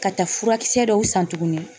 Ka taa furakisɛ dɔw san tuguni